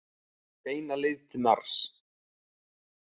Beina leið til Mars.